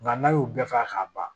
Nka n'a y'o bɛɛ fɔ k'a ban